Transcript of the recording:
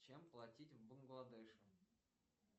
чем платить в бангладеше